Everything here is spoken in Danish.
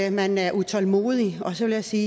at man er utålmodig og så vil jeg sige